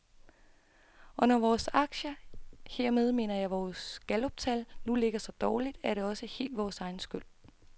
Og når vores aktiekurser, hermed mener jeg vores galluptal, nu ligger så dårligt, er det også helt vores egen skyld.